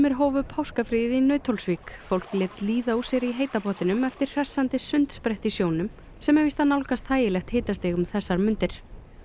hófu páskafríið í Nauthólsvík fólk lét líða úr sér í heita pottinum eftir hressandi sundsprett í sjónum sem er víst að nálgast þægilegt hitastig um þessar mundir